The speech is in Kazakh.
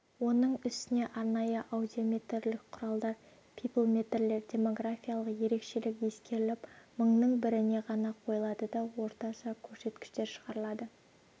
оның үстіне арнайы аудиометрлік құралдар пиплметрлер демографиялық ерекшелік ескеріліп мыңның біріне ғана қойылады да орташа көрсеткіш шығарылады